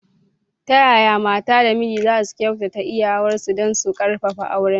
Ta yaya mata da miji za su kyautata iyawarsu don su ƙarfafa aurensu?